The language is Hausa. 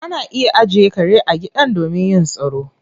Ana iya ajiye kare a gidan domin yin tsaro